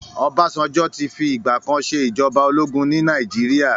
Ọbásanjọ́ ti fi ìgbà kan ṣe ìjọba ológun ní Nàìjíríà.